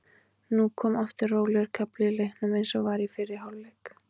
Nú kom aftur rólegur kafli í leiknum eins og var í fyrri hálfleik.